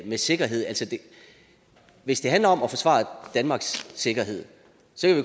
med sikkerhed at hvis det handler om at forsvare danmarks sikkerhed